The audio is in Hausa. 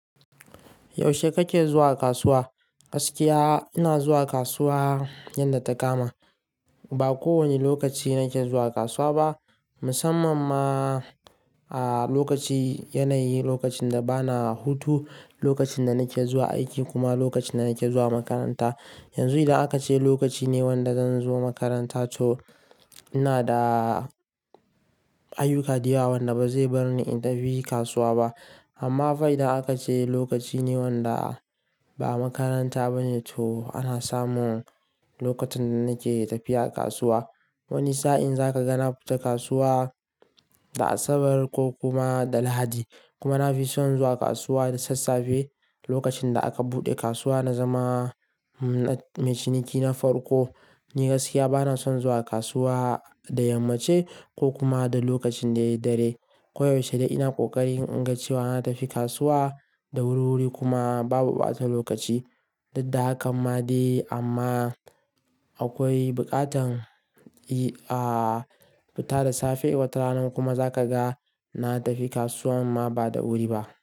Yaushe kake zuwa kasuwa? Gaskiya ina zuwa kasuwa yanda ta kama. Ba kowane lokaci nake zuwa kasuwa ba, musamman ma a lokaci yanayi, lokacin da bana hutu, lokacin da nake zuwa aiki kuma lokacin da nake zuwa makaranta. Yanzu idan aka ce lokaci ne wanda zan zo makaranta to ina da ayyuka dayawa wanda ba zai bar ni in tafi kasuwa ba. Amma fa idan aka ce lokaci ne wanda ba makaranta ba ne to ana samun lokacin da nake tafiya kasuwa. Wani sa'in za ka ga na fita kasuwa da Asabar ko kuma da Lahadi. Kuma na fi son zuwa kasuwa da sassafe lokacin da aka buɗe kasuwa na zama, mai ciniki na farko. Ni gaskiya bana son zuwa kasuwa da yammace ko kuma da lokacin da ya dare. Koyaushe dai ina ƙoƙari in ga cewa na tafi kasuwa da wuri-wuri kuma babu ɓata lokaci. Didda hakan ma dai amma akwai buƙatan, i, a fita da safe watarana kuma za ka ga na tafi kasuwa ma ba da wuri ba.